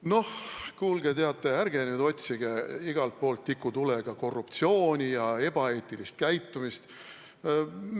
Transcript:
No kuulge, ärge nüüd otsige igalt poolt tikutulega korruptsiooni ja ebaeetilist käitumist!